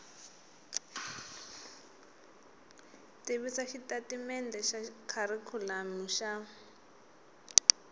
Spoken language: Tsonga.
tivisa xitatimendhe xa kharikhulamu xa